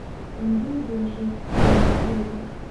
Mandungu waxay ku kulmaan guriga